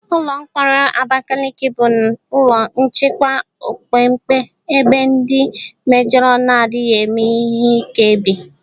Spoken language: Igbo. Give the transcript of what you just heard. Ụlọ mkpọrọ Abakaliki bụ ụlọ nchekwa opekempe ebe ndi mejoro na-adịghị eme ihe ike bi.